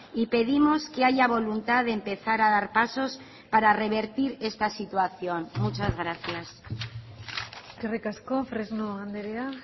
y pedimos que haya voluntad de empezar a dar pasos para revertir esta situación muchas gracias eskerrik asko fresno andrea